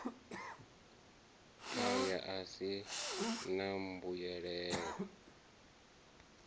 aya a si a mbuyelo